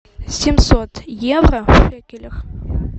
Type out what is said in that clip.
семьсот евро в шекелях